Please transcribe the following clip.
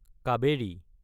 Kaveri